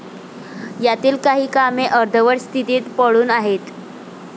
यातील काही कामे अर्धवट स्थितीत पडून आहेत.